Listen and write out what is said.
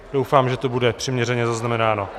Doufám, že to bude přiměřeně zaznamenáno.